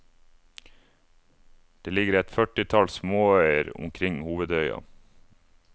Det ligger et førtitalls småøyer omkring hovedøya.